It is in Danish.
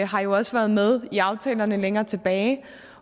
har jo også været med i aftalerne længere tilbage